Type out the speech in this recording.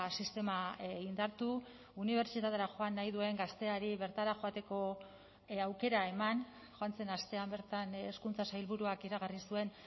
sistema indartu unibertsitatera joan nahi duen gazteari bertara joateko aukera eman joan zen astean bertan hezkuntza sailburuak iragarri zuen